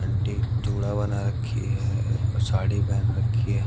Aunty जुड़ा बना रखी है साड़ी पहन रखी है।